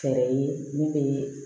Fɛɛrɛ ye min bɛ